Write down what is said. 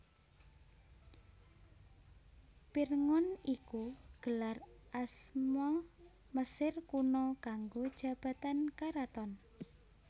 Pirngon iku gelar asma Mesir Kuna kanggo jabatan karaton